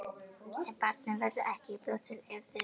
En barnið verður ekki á brjósti til eilífðarnóns.